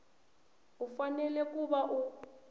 u fanele ku va u